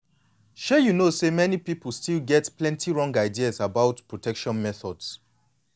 shay you know say plenty people still get many wrong ideas about protection methods.